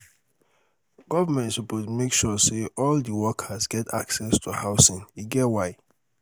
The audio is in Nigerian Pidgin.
government suppose make sure sey all di workers get access to housing e get why.